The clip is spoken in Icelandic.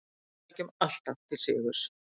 Við sækjum alltaf til sigurs.